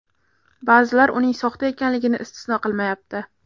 Ba’zilar uning soxta ekanligini istisno qilmayapti.